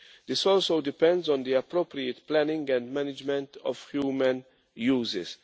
This also depends on the appropriate planning and management of human uses.